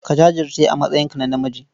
Ka jajirce a matsayinka na namiji.